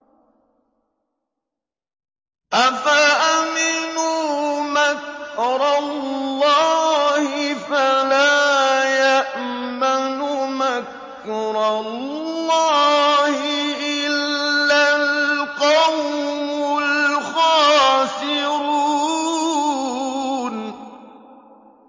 أَفَأَمِنُوا مَكْرَ اللَّهِ ۚ فَلَا يَأْمَنُ مَكْرَ اللَّهِ إِلَّا الْقَوْمُ الْخَاسِرُونَ